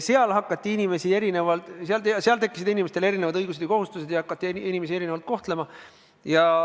Siis tekkisid inimestel erinevad õigused-kohused ja hakati inimesi erinevalt kohtlema.